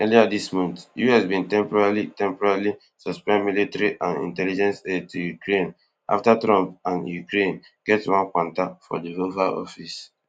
earlier dis month us bin temporarily temporarily suspend military and intelligence aid to ukraine afta trump and zelensky get one kwanta for di oval office